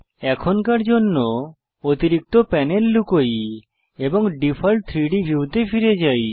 এখনকার জন্য অতিরিক্ত প্যানেল লুকাই এবং ডিফল্ট 3ডি ভিউতে ফিরে যাই